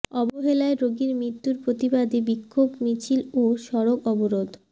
অবহেলায় রোগীর মৃত্যুর প্রতিবাদে বিক্ষোভ মিছিল ও সড়ক অবরোধ